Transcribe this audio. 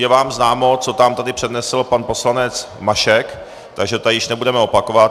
Je vám známo, co nám tady přednesl pan poslanec Mašek, takže to již nebudeme opakovat.